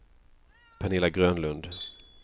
Pernilla Grönlund